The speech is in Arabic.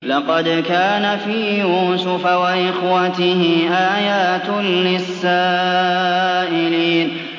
۞ لَّقَدْ كَانَ فِي يُوسُفَ وَإِخْوَتِهِ آيَاتٌ لِّلسَّائِلِينَ